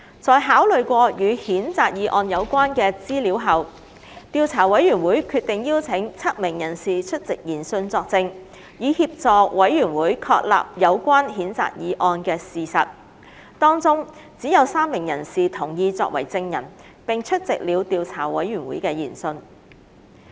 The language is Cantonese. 在考慮過與譴責議案有關的資料後，調査委員會決定邀請7名人士出席研訊作證，以協助委員會確立有關譴責議案的事實，當中只有3名人士同意作為證人並出席了調查委員會的研訊。